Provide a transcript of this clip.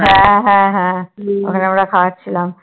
হ্যা হ্যা হ্যা ওখানে আমার খাওয়াচ্ছিলাম